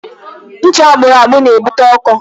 Ncha akpụrụ akpụ na-ebute ọkọ.